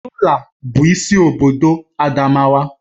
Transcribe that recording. Yola bụ isi obodo Adamawa